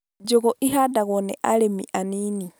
Njũgũ ihandagwo nĩ arĩmi anini